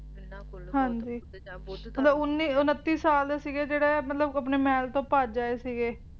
ਜਿੰਨਾ ਬੋਲੋ ਬੁੱਧ ਮਤਲਬ ਉੱਨੀ ਉਨੱਤੀ ਸਾਲ ਦੇ ਸੀਗੇ ਜਿਹੜੇ ਆਪਣੇ ਮਹਿਲ ਤੋਂ ਭੱਜ ਆਏ ਸੀਗੇ